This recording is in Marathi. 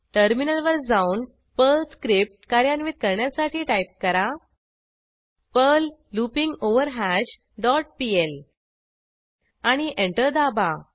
टर्मिनलवर जाऊन पर्ल स्क्रिप्ट कार्यान्वित करण्यासाठी टाईप करा पर्ल लूपिंगवरहॅश डॉट पीएल आणि एंटर दाबा